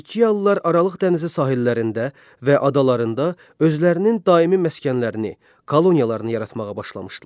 Finikiyalılar Aralıq dənizi sahillərində və adalarında özlərinin daimi məskənlərini, koloniyalarını yaratmağa başlamışdılar.